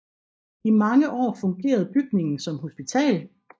I mange år fungerede bygningen som hospital